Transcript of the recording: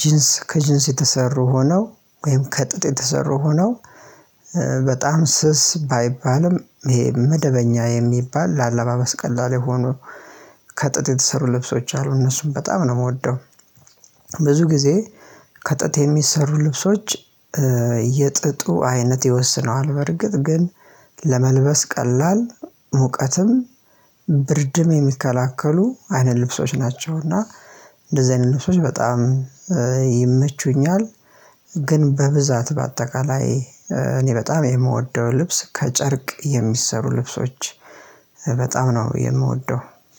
ጂንስ ከጂንስ የተሰሩ ሆነው ወይም ከጥጥ የተሰሩ ሆነው በጣም ስስ ባይባልም ይሄ መደበኛ የሚባል ለአለባበስ ቀላል የሆኑ ከጥጥ የተሰሩ ልብሶች አሉ እነሱም በጣም ነው የምወደው። ብዙ ጊዜ ከጥጥ የሚሰሩ ልብሶች የጥጡ አይነት ይወስነዋል በርግጥ ግን ለመልበስ ቀላል ሙቀትም ብርድም የሚከላከሉ አይነት ልብሶች ናቸው። እና እንደዚህ አይነት ልብሶች በጣም ይመቹኛል። ግን በብዛት በአጠቃላይ እኔ በጣም የምወደው ልብስ ከጨርቅ የሚሰሩ ልብሶች በጣም ነው የምወደው።